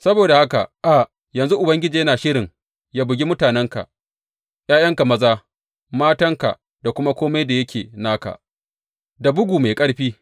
Saboda haka a yanzu Ubangiji yana shirin ya bugi mutanenka, ’ya’yanka maza, matanka da kuma kome da yake naka, da bugu mai ƙarfi.